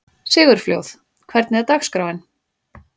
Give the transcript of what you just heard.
Sigurfljóð, hvernig er dagskráin?